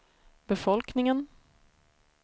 befolkningen